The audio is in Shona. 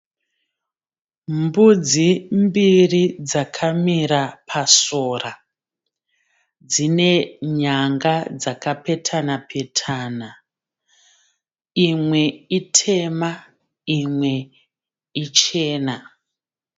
Mbudzi mbiri dzakamira pasora. Dzine nyanga dzakapetana petana. Imwe itema imwe ichena.